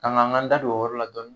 An ka n ka n da don o yɔrɔ la dɔɔni.